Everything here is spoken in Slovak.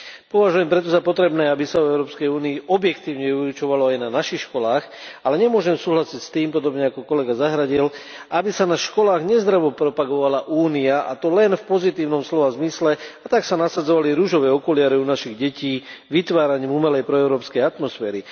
Považujem preto za potrebné, aby sa o Európskej únii objektívne vyučovalo aj na našich školách, ale nemôžem súhlasiť s tým, podobne ako kolega Zahradil, aby sa na školách nezdravo propagovala Únia, a to len v pozitívnom slova zmysle, a tak sa nasadzovali ružové okuliare u našich detí vytváraním umelej proeurópskej atmosféry.